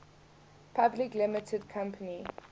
public limited company